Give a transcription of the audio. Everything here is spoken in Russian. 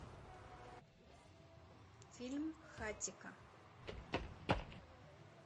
фильм хатико